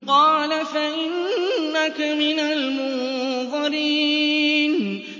قَالَ فَإِنَّكَ مِنَ الْمُنظَرِينَ